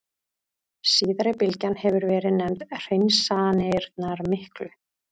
Síðari bylgjan hefur verið nefnd Hreinsanirnar miklu.